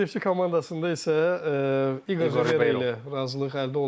Neftçi komandasında isə İqor ilə razılıq əldə olundu.